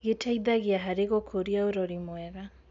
Gĩteithagia harĩ gũkũria ũrori mwega.